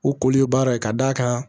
U koli ye baara ye ka d'a ka